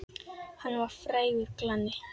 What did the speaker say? Hann var frægur glanni.